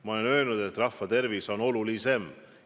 Ma olen öelnud, et rahva tervis on olulisem.